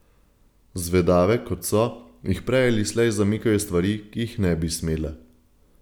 Zvedave, kot so, jih prej ali prej zamikajo stvari, ki jih ne bi smele.